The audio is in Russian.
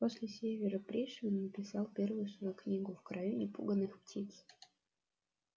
после севера пришвин написал первую свою книгу в краю непуганых птиц